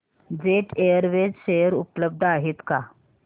jet Airways share उपलब्ध आहेत का